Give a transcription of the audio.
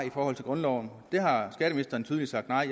i forhold til grundloven det har skatteministeren tydeligt sagt nej